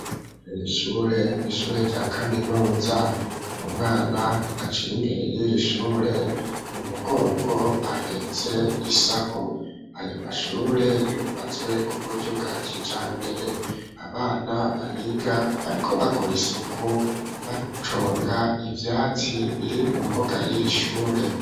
Irishure nishure rya kaminuza, umwana aciye imbere y'irishure mu mugongo ahetse isaho aya mashure yubatswe kuburyo bwakijambere, abana bahiga bariko bakora isuku baconga ivyatsi biri mu mbuga y'irishure.